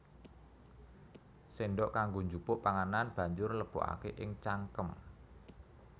Séndhok kanggo njupuk panganan banjur lebokaké ing cangkem